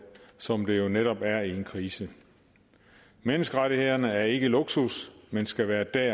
som der jo netop er i en krise menneskerettighederne er ikke luksus men skal være der